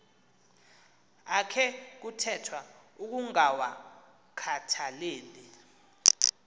akhe kuthethwa ukungawakhathaleli